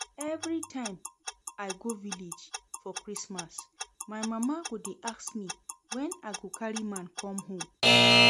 Everytime i go village for Christmas, my mama go dey ask me when I go carry man come home